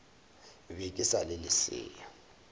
be ke sa le lesea